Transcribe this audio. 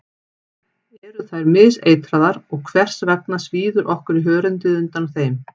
Eru þær miseitraðar og hvers vegna svíður okkur í hörundið undan þeim?